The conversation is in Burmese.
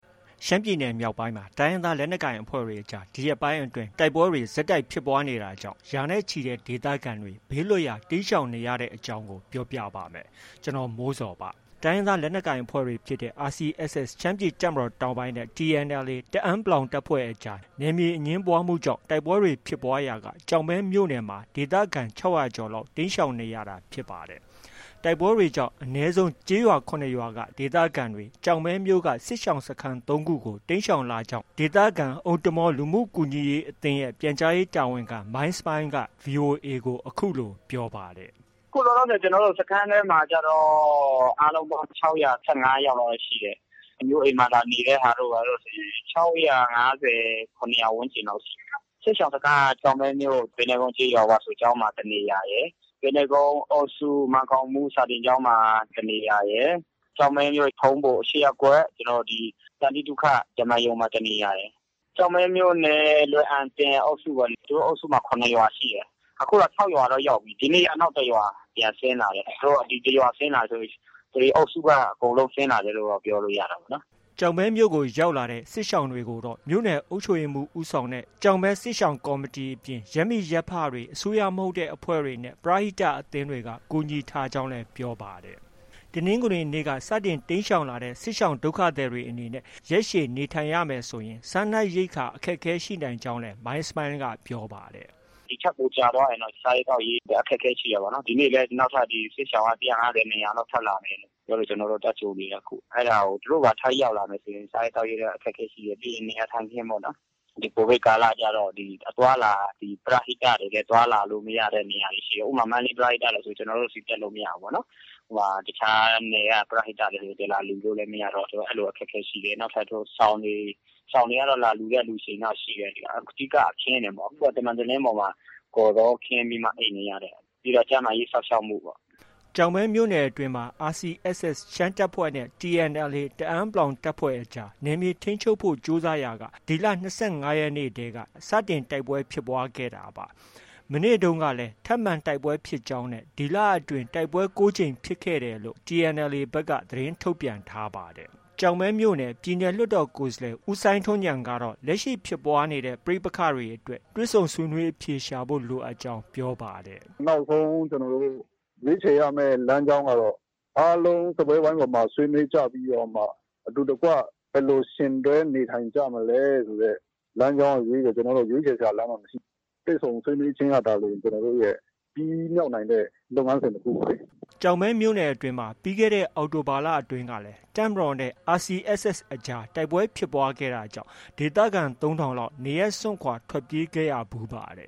ရှမ်းပြည်နယ်မြောက်ပိုင်းမှာ တိုင်းရင်းသား လက်နက်ကိုင်အဖွဲ့တွေကြား ဒီရက်ပိုင်းအတွင်း တိုက်ပွဲတွေ ဆက်တိုက်ဖြစ်ပွားနေတာကြောင့် ရာနဲ့ချီတဲ့ဒေသခံတွေ ဘေးလွတ်ရာ တိမ်းရှောင်နေကြရတဲ့အကြောင်းကို ဗွီအိုအေမြန်မာပိုင်း သတင်းထောက် ကိုမိုးဇော်က ပြောပြပါမယ်။ တိုင်းရင်းသား လက်နက်ကိုင်အဖွဲ့တွေဖြစ်တဲ့ RCSS ရှမ်းပြည်တပ်မတော်တောင်ပိုင်းနဲ့ TNLA တအန်း(ပလောင်) တပ်ဖွဲ့အကြား နယ်မြေအငြင်းပွားမှုကြောင့် တိုက်ပွဲတွေဖြစ်ပွားရာက ကျောက်မဲမြို့နယ်မှာ ဒေသခံ ၆၀၀ ကျော်လောက် တိမ်းရှောင်နေရတာ ဖြစ်ပါတယ်။ တိုက်ပွဲတွေကြောင့် အနည်းဆုံး ကျေးရွာ ၇ ရွာက ဒေသခံတွေကို ကျောက်မဲမြို့က စစ်ရှောင်စခန်း ၃ ခုကို တိမ်းရှောင်လာခဲ့ကြောင်းလည်း ဒေသခံ အိုမ်တမာဝ်လူမှုကူညီရေးအသင်းရဲ့ ပြန်ကြားရေးတာဝန်ခံ မိုင်းစမိုင်းလ်က VOA ကို အခုလို ပြောပါတယ်။ “အခုလောလောဆယ် စခန်းထဲမှာကျတော့ အားလုံးပေါင်း ၆၁၅ ယောက်လောက်ပဲရှိတယ်။ အမျိုးအိမ်မှာ လာနေတဲ့ဟာတို့ ဘာတို့ဆို ၆၅၀၊ ၇၀၀ ဝန်းကျင်လောက်ရှိတယ်။ စစ်ရှောင်စခန်းက ကျောက်မဲမြို့ ပိန္နဲကုန်းကျေးရွာ ဝါဆိုကျောင်းမှာ တစ်နေရာရယ်။ ပိန္နဲကုန်းအုပ်စု မန်းကောင်းမှုစာသင်ကျောင်းမှာ တစ်နေရာရယ်။ ကျောက်မဲမြို့ ၈ ရပ်ကွက် ထုံးဘို သန္တိသုခဓမ္မာရုံမှာ တစ်နေရာရယ်။ ကျောက်မဲမြို့နယ် လွယ်အံတင်အုပ်စုပေါ့။ သူတို့အုပ်စုမှာ ၇ ရွာရှိတယ်။ အခု ၆ရွာတော့ ရောက်ပြီ။ ဒီနေ့ နောက်တစ်ရွာပြန်ဆင်းလာတယ်။ ဒီတစ်ရွာဆင်းလာတယ်ဆိုရင် ဒီအုပ်စုက အကုန်လုံးဆင်းလာတယ်ပြောလို့ ရတာပေါ့နော်။” ကျောက်မဲမြို့ကို ရောက်လာတဲ့ စစ်ရှောင်တွေကိုတော့ မြို့နယ်အုပ်ချုပ်ရေးမှူး ဦးဆောင်တဲ့ကျောက်မဲ စစ်ရှောင်ကော်မီအပြင် ရပ်မိရပ်ဖတွေ၊ အစိုးရမဟုတ်တဲ့အဖွဲ့တွေနဲ့ ပရဟိတအသင်းတွေက ကူညီထားကြောင်းလည်း ပြောပါတယ်။ တနင်္ဂနွေနေ့ကစတင် တိမ်းရှောင်လာကြတဲ့ စစ်ရှောင်ဒုက္ခသည်တွေ အနေနဲ့ ရက်ရှည် နေထိုင်ရမယ်ဆိုရင် စားနပ်ရိက္ခာ အခက်အခဲ ရှိနိုင်တယ်လို့လည်း မိုင်းစမိုင်းလ်က ပြောပါတယ်။ “ဒီထက် ပိုကြာသွားရင်တော့ စားရေးသောက်ရေး အခက်အခဲရှိတာပေါ့နော်။ ဒီနေ့လည်း စစ်ရှောင်က ၁၅၀၊ ၂၀၀ လောက် ထပ်လာနေတယ်ပြောလို့ ကျနော်တို့ သွားကြိုနေတယ်။ သူတို့ပါ ထပ်ရောက်လာရင် စားရေးသောက်ရေး အခက်အခဲရှိတယ်။ ပြီးတော့ နေရာထိုင်ခင်းပေါ့နော်။ ဒီ ကိုဗစ်ကာလကျတော့ ပရဟိတတွေလည်း အသွားအလာ အခက်အခဲရှိတယ်။ ဥပမာ မန္တလေး ပရဟိတတွေဆို ကျနော်တို့ဆီ တက်လို့ မရဘူးပေါ့နော်။ တခြားပရဟိတတွေ လာလှူလို့ မရတော့ အဲဒီလို အခက်အခဲရှိတယ်။ နောက်ထပ် စောင်တွေ၊ စောင်တွေကတော့ လာလှှုတဲ့သူတွေရှိတယ်။ အဓိက အခင်းတွေပေါ့။ အခုက သံမံတလင်းပေါ်မှာ ကော်ဇောခင်းပြီးမှ အိပ်နေရတယ်။ ပြီးတော့ ကျန်းမာရေးစောင့်ရှောက်မှုပေါ့။” ကျောက်မဲမြို့နယ်အတွင်းမှာ RCSS ရှမ်းတပ်ဖွဲ့နဲ့ TNLA တအန်း(ပလောင်) တပ်ဖွဲ့အကြား နယ်မြေထိန်းချုပ်ဖို့ ကြိုးစားရာက ဒီလ ၂၅ရက်နေ့တည်းက စတင်တိုက်ပွဲဖြစ်ပွားခဲ့တာပါ။ မနေ့တုန်းကလည်း ထပ်မံတိုက်ပွဲဖြစ်ကြောင်းနဲ့ ဒီလအတွင်း တိုက်ပွဲ ၉ ကြိမ်ဖြစ်ခဲ့တယ်လို့ TNLA ဘက်က သတင်းထုတ်ပြန်ထားပါတယ်။ ကျောက်မဲမြို့နယ် ပြည်နယ်လွှတ်တော်ကိုယ်စားလှယ် ဦးစိုင်းထွန်းဉာဏ်ကတော့ လက်ရှိဖြစ်ပွားနေတဲ့ ပဋိပက္ခတွေအတွက် တွေ့ဆုံဆွေးနွေးအဖြေရှာဖို့ လိုအပ်ကြောင်း ပြောပါတယ်။ “နောက်ဆုံး ကျနောတို့ ရွေးခြယ်ရမယ့် လမ်းကြောင်းကတော့ အားလုံးစားပွဲဝိုင်းပေါ်မှာ ဆွေးနွေးကြပြီးတော့မှ အတူတကွ ဘယ်လို ယှဉ်တွဲနေထိုင်ကြမလဲဆိုတဲ့ လမ်းကြောင်းကလွဲပြီးတော့ ရွေးခြယ်စရာလမ်းကြောင်းက မရှိဘူး။ တွေ့ဆုံဆွေးနွေးခြင်းကသာလျှင် ကျနော်တို့ရဲ့ ပြီးမြောက်နိုင်တဲ့ လုပ်ငန်းစဉ်တစ်ခုပေါ့လေ။” ကျောက်မဲမြို့နယ်အတွင်းမှာ ပြီးခဲ့တဲ့ အောက်တိုဘာလအတွင်းကလည်း တပ်မတော်နဲ့ RCSS အကြား တိုက်ပွဲဖြစ်ပွားခဲ့တာကြောင့် ဒေသခံ ၃,၀၀၀ လောက် နေရပ်စွန့်ခွာ ထွက်ပြေးခဲ့ကြရဖူးပါတ